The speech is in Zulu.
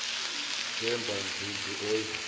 themba dludlu oyi